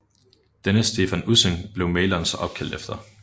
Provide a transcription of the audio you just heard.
Denne Stephan Ussing blev maleren så opkaldt efter